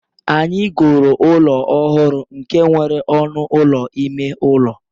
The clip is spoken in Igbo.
Anyị goro ụlọ ọhụrụ nke nwere ọnụ ụlọ ime ụlọ